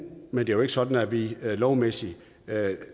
men det er jo ikke sådan at vi lovmæssigt